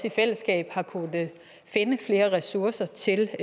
i fællesskab har kunnet finde flere ressourcer til